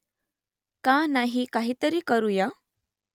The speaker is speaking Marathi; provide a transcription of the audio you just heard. का नाही काहीतरी करुया ?